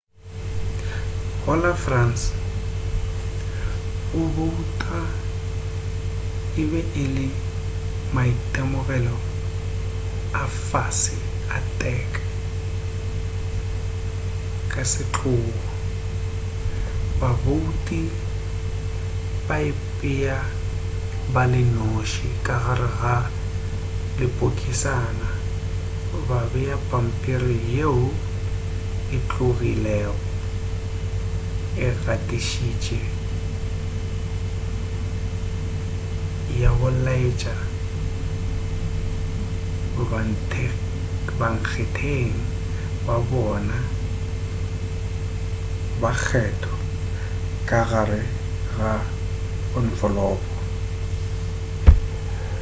go la france go bouta e be e le maitemogelo a fase-a-tek ka setlogo babouti ba ipea ba le noši ka gare ga lepokisana ba bea pampiri yeo e tlogilego e gatišitše ya go laetša bankgetheng ba bona ba kgetho ka gare ga onfolopo